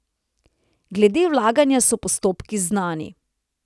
Glede vlaganja so postopki znani.